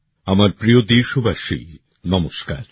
আমার প্রিয় দেশবাসী নমস্কার